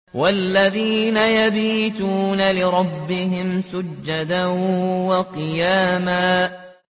وَالَّذِينَ يَبِيتُونَ لِرَبِّهِمْ سُجَّدًا وَقِيَامًا